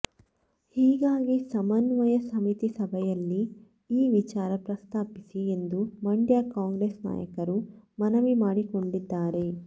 ಹೀಗಾಗಿ ಸಮನ್ವಯ ಸಮಿತಿ ಸಭೆಯಲ್ಲಿ ಈ ವಿಚಾರ ಪ್ರಸ್ತಾಪಿಸಿ ಎಂದು ಮಂಡ್ಯ ಕಾಂಗ್ರೆಸ್ ನಾಯಕರು ಮನವಿ ಮಾಡಿಕೊಂಡಿದ್ದಾರೆ